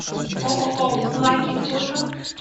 ооо лаки фото